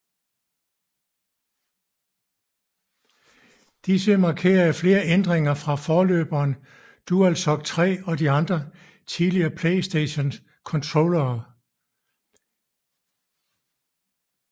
Disse markere flere ændringer fra forløberen DualShock 3 og de andre tidligere PlayStation controllere